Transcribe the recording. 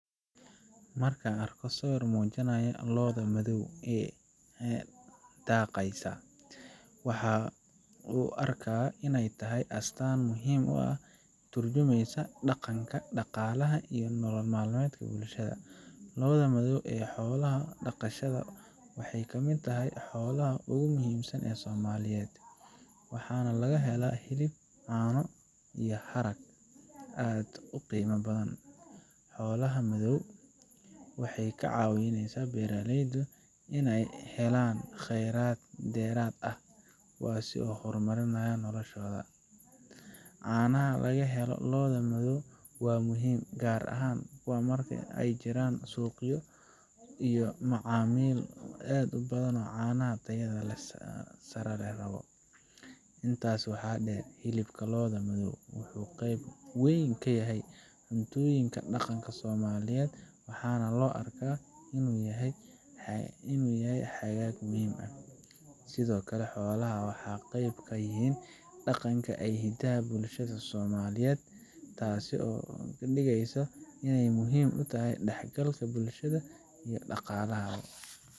Marka aan arko sawir muujinaya lo’da madow ee daaqaysa, waxaan u arkaa inay tahay astaan muhiim ah oo ka turjumaysa dhaqanka, dhaqaalaha, iyo nolol maalmeedka bulshada. Lo'da madow ee xoolaha dhaqashada waxay ka mid tahay xoolaha ugu muhiimsan ee Soomaaliyeed, waxaana laga helaa hilib, caano, iyo harag aad u qiimo badan. Xoolaha madow waxay ka caawineysaa beeraleyda inay helaan khayraad dheeraad ah oo ay ku horumariyaan noloshooda. Caanaha laga helo lo'da madow waa muhiim, gaar ahaan marka ay jiraan suuqyo iyo macaamiil aad u badan oo caanaha tayada sare leh rabo. Intaas waxaa dheer, hilibka lo'da madow wuxuu qayb weyn ka yahay cuntooyinka dhaqanka ee Soomaaliyeed, waxaana loo arkaa inuu yahay xagaag muhiim ah. Sidoo kale, xoolaha waxay qayb ka yihiin dhaqanka iyo hidaha bulshada Soomaaliyeed, taasoo ka dhigaysa inay muhiim u utahay is dhexgalka bulshada iyo dhaqaalaha.